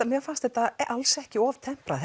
mér fannst þetta alls ekki of temprað